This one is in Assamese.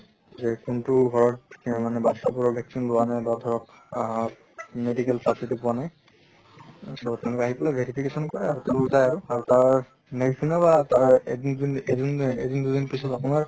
যে কোনটো ঘৰ মানে বাচ্ছা বোৰক vaccine লোৱা নাই বা ধৰক আহ medical facility পোৱা নাই, তʼ তেনেকুৱা আহি পালে verification কৰে আৰু তাৰ next দিনা বা এদিন এদিন দুদিন পিছত আপোনাৰ